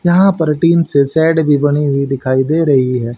यहां टीन से शेड भी बनी हुई दिखाई दे रही है।